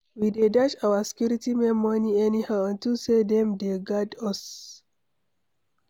We dey dash our security men money anyhow unto say dem dey guard us